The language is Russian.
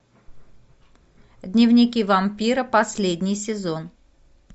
дневники вампира последний сезон